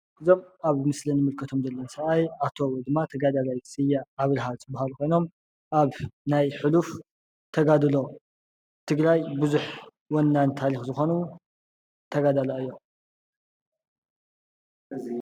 እዞም አብ ምስሊ እንምልከቶም ዘለና ሰብአይ አቶ ወይ ድማ ተጋዳላየ ስየ አብራሃ ዝበሃሉ ኮይኖም አብ ናይ ሑሉፍ ተጋድሎ ትግራይ ብዝሕ ወናኒ ታሪኽ ዝኮኑ ተጋዳላይ እዩም፡፡